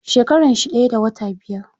Shekaran shi daya da wata biyar.